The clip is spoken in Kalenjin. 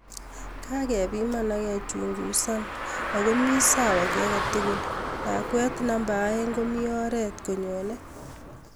Kokepimana akechungusana ako mi sawa ki agei tukul�.Lakwet number aeng ko mi oret ko nyone.